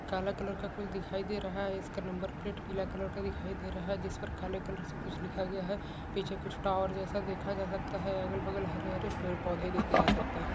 काला कलर का कुछ दिखाई दे रहा है इसका नंबर प्लेट पीला कलर का दिखाई दे रहा है जिस पर काले कलर से कुछ लिखा गया है पीछे कुछ टावर जैसा देखा जा सकता है अगल बगल हरे हरे पेड़ पौधे देख सकते हैं।